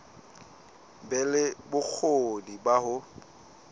be le bokgoni ba ho